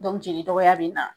Dɔnku jeli dɔgɔya bena